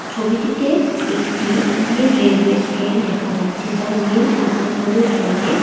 ছবিটিতে একটি Indian railway train দেখা যাচ্ছে যা নীল এবং হলুদ রঙের।